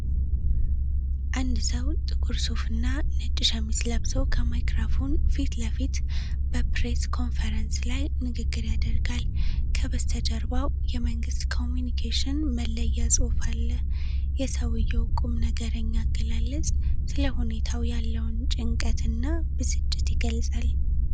አንድ ሰው ጥቁር ሱፍና ነጭ ሸሚዝ ለብሶ፤ ከማይክራፎን ፊት ለፊት በፕሬስ ኮንፈረንስ ላይ ንግግር ያደርጋል። ከበስተጀርባው የመንግሥት ኮሚዩኒኬሽን መለያ ጽሑፍ አለ። የሰውዬው ቁም ነገርኛ አገላለጽ ስለሁኔታው ያለውን ጭንቀት እና ብስጭትን ይገልጻል።